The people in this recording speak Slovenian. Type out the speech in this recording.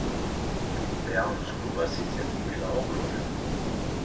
Dejavnost kluba sicer ni bila ogrožena.